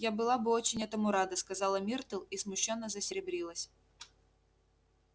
я была бы очень этому рада сказала миртл и смущённо засеребрилась